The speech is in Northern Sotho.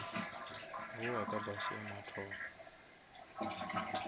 bowa ka bus ya mathomo